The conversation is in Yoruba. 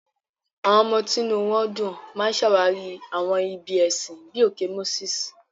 Àwọn ọmọ tí inú wọn dùn máa ń ṣàwárí àwọn ibi ẹ̀sìn bíi òkè Moses.